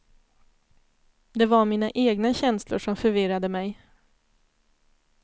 Det var mina egna känslor som förvirrade mig.